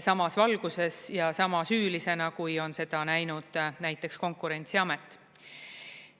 samas valguses ja sama süülisena, kui on seda näinud näiteks Konkurentsiamet.